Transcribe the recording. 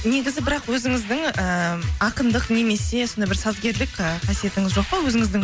негізі бірақ өзіңіздің ыыы ақындық немесе сондай бір сазгерлік ы қасиетіңіз жоқ па өзіңіздің